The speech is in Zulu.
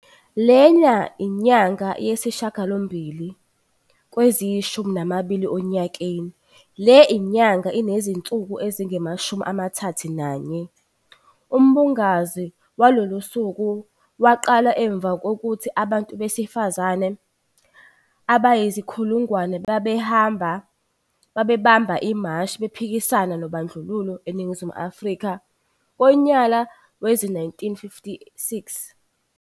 Lena inyanga yesishiyagalombili kweziyi shumi nambili onyakeni, le nyanga inezinsuku ezingamashumi amathathu nanye. Umbungazo walolu suku waqala emuva kokuthi abantu besifazane abayizinkulungwane babamba imashi bephikisana nobandlululo eNingizimu Afrika ngonyala wezi-1956.